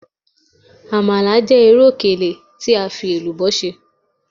Amala jẹ iru okele fi elubo ṣe